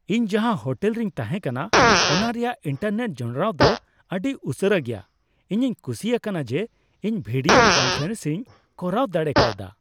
ᱤᱧ ᱡᱟᱦᱟᱸ ᱦᱳᱴᱮᱞ ᱨᱤᱧ ᱛᱟᱦᱮᱱ ᱠᱟᱱᱟ ᱚᱱᱟ ᱨᱮᱭᱟᱜ ᱤᱱᱴᱟᱨᱱᱮᱴ ᱡᱚᱱᱚᱲᱟᱣ ᱫᱚ ᱟᱹᱰᱤ ᱩᱥᱟᱹᱨᱟ ᱜᱮᱭᱟ ᱾ᱤᱧᱤᱧ ᱠᱩᱥᱤ ᱟᱠᱟᱱᱟ ᱡᱮ ᱤᱧ ᱵᱷᱤᱰᱤᱭᱳ ᱠᱚᱱᱯᱷᱟᱨᱮᱱᱥᱤᱧ ᱠᱚᱨᱟᱣ ᱫᱟᱲᱮ ᱠᱟᱣᱫᱟ ᱾